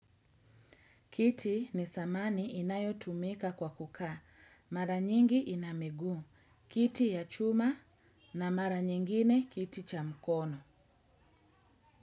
Kiti ni thamani inayo tumika kwa kukaa. Mara nyingi ina miguu. Kiti ya chuma na mara nyingine kiti cha mkono.